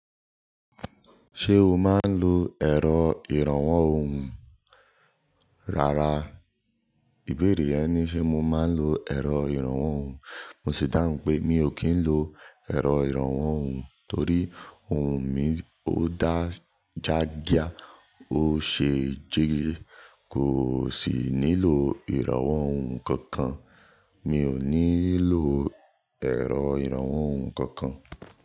Ṣé o máa ń lo ẹ̀rọ ìrànwọ́ ohùn? Rárá, ìbéèrè yẹn ni ṣe mo máa ń lo ẹ̀rọ ìrànwọ́ ohùn. Mo sì dáhùn pé mi ò kí ń lo ẹ̀rọ ìrànwọ́ ohùn torí ohùn mi ó dá gá jíá, ó ṣe jígí kò sì nílò ìrànwọ́ ohùn kankan. Mi ò nílò ẹ̀rọ ìrànwọ́ ohùn kankan.